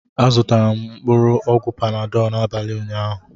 Azụtara m mkpụrụ ọgwụ Panadọ n'abalị ụnyaahụ